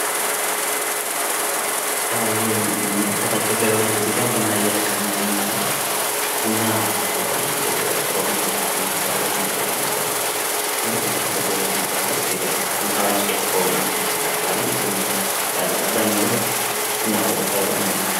ይህ የምን መለከታቸው ገበሬዎች ቡና እየለቀሙ ይገኛሉ። ቡና በተለምዶ ወደ ኦሮሚያ ወደ ጂማ በጣም የተለመደ ነው። እንደዚህ አይነት ቡና ለቀማ በኢትዮጵያ ዉስጥ በጣም ታዋቂ ከሆነ መጠጦች መካከል አንዱ ቡና ነው። በኢትዮጵያ አባዛኛው ሰው ቡና ስይጠጣ አይዉልም። እንደምናዉቀው።